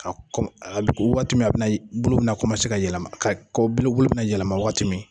Ka kɔ waati min a bi na bulu bi na ka yɛlɛma ka ko buluw be na yɛlɛma waati min.